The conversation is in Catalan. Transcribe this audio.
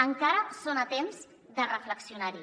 encara són a temps de reflexionar hi